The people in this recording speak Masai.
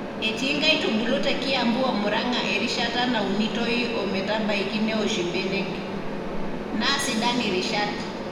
Etii nkaitubulu te Kiambu o Murang`a erishata naunitoi o metabaiki neosh ibenek , naa sidan irishat.